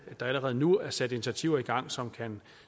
der allerede nu er sat initiativer i gang som kan